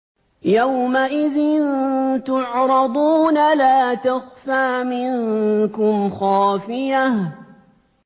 يَوْمَئِذٍ تُعْرَضُونَ لَا تَخْفَىٰ مِنكُمْ خَافِيَةٌ